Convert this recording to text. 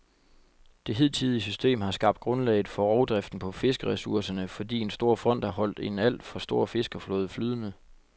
Det hidtidige system har skabt grundlaget for rovdriften på fiskeressourcerne, fordi en stor fond har holdt en alt for stor fiskerflåde flydende.